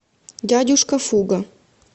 дядюшка фуго